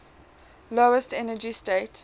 lowest energy state